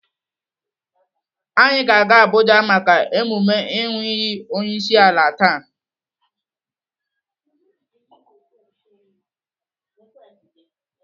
Anyị ga-aga Abuja maka emume ịnụ iyi onyeisiala taa.